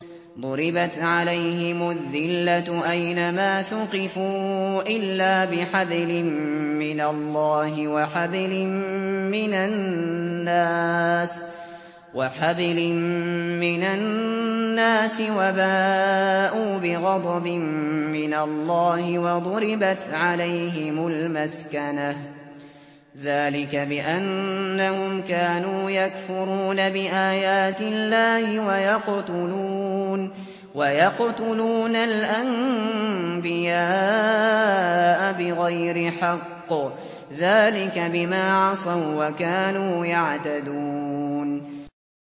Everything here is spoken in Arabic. ضُرِبَتْ عَلَيْهِمُ الذِّلَّةُ أَيْنَ مَا ثُقِفُوا إِلَّا بِحَبْلٍ مِّنَ اللَّهِ وَحَبْلٍ مِّنَ النَّاسِ وَبَاءُوا بِغَضَبٍ مِّنَ اللَّهِ وَضُرِبَتْ عَلَيْهِمُ الْمَسْكَنَةُ ۚ ذَٰلِكَ بِأَنَّهُمْ كَانُوا يَكْفُرُونَ بِآيَاتِ اللَّهِ وَيَقْتُلُونَ الْأَنبِيَاءَ بِغَيْرِ حَقٍّ ۚ ذَٰلِكَ بِمَا عَصَوا وَّكَانُوا يَعْتَدُونَ